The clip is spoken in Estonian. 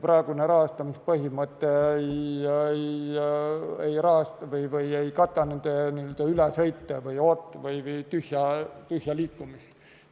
Praegune rahastamispõhimõte ei kata neid sõite või tühja liikumist.